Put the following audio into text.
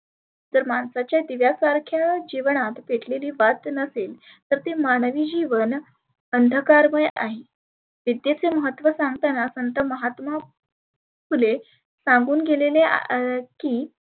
तर माणसाच्या दिव्यासारख्या जिवनात पेटलेली वात जर नसेल तर ते मानवी जिवन अंधकारमय आहे. विद्येचे महत्व सांगताना संत महात्मा फुले सांगुन गेलेले अ की